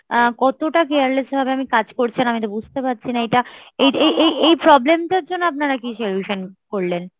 কতটা careless ভাবে কাজ করছেন আমি বুজতে পারছি না এইটা, এই এই এই problem টার জন্য আপনারা কি solution করলেন ?